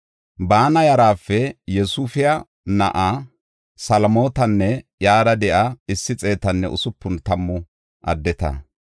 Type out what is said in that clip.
Baana yarape Yosifiya na7a Salomitanne iyara de7iya issi xeetanne usupun tammu addeta.